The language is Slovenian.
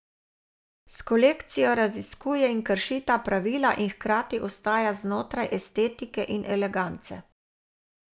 S kolekcijo raziskuje in krši ta pravila in hkrati ostaja znotraj estetike in elegance.